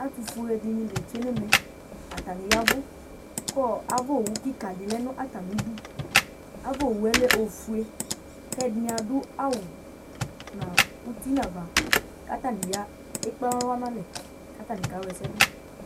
Ɛtʋfue dɩnɩ la etsue nʋ ɛmɛ Atanɩ ya ɛvʋ kʋɔ ava owu kɩka dɩ lɛ nʋ atamɩdu Ava owu yɛ lɛ ofue kʋ ɛdɩnɩ adʋ nʋ awʋ uti nʋ ava kʋ atanɩ ya ekpe alɔ nʋ alɛ kʋ atanɩ kawla ɛsɛ dʋ